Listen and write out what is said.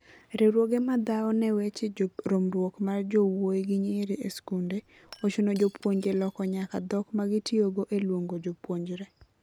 Riwruoge ma dhaone weche romruok mar jowui gi nyiri e skunde ochuno jopuonje loko nyaka dhok magitiyogo eluongo jopuonjre.